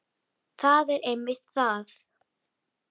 Það er einmitt það.